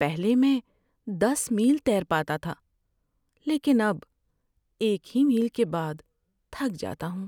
پہلے میں دس میل تیر پاتا تھا لیکن اب ایک ہی میل کے بعد تھک جاتا ہوں۔